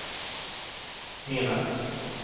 menar